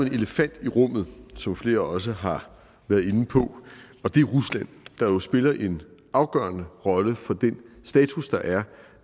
elefant i rummet som flere også har været inde på og det er rusland der jo spiller en afgørende rolle for den status der er